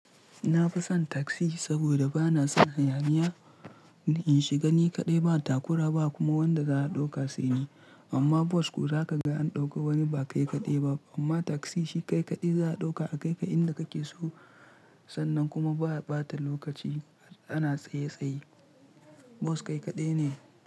Na fi son taksi saboda ba na son hayaniya. In shiga ni kaɗai ba takura ba kuma wanda za a ɗauka sai ni. Amma bus ko za ka ga an ɗauka wani ba kai kaɗai ba. Amma taksi shi kai kaɗai za a ɗauka a kai ka inda kake so. Sannan kuma ba bata lokaci ana tsaye tsaye. Bus kai kaɗai ne.